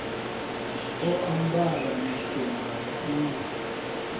o ambara mikumba ya nṋgwe